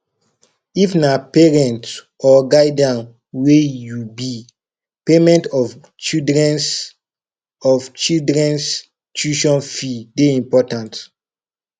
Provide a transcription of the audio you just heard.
if na parent or guidian wey you be payment of childrens of childrens tution fee de important